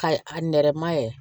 Ka a nɛrɛma ye